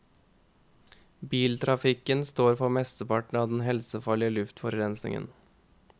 Biltrafikken står for mesteparten av den helsefarlige luftforurensningen.